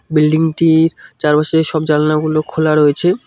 Building -টির চারপাশের সব জানালাগুলো খোলা রয়েছে।